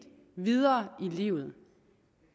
videre i livet